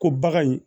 Ko bagan in